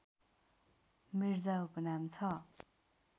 मिर्जा उपनाम छन्